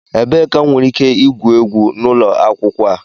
Ebee ka m nwere ike igwu egwu n'ụlọ akwụkwọ a?